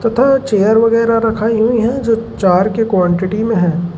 तथा चेयर वगैरह रखाई हुई हैं जो चार के क्वांटिटी में हैं।